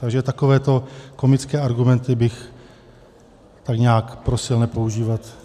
Takže takovéto komické argumenty bych tady nějak prosil nepoužívat.